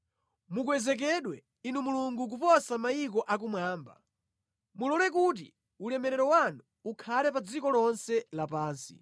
Mukwezekedwe Inu Mulungu kuposa mayiko akumwamba, mulole kuti ulemerero wanu ukhale pa dziko lonse lapansi.